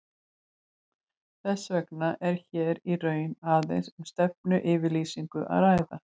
Þess vegna er hér í raun aðeins um stefnuyfirlýsingu að ræða.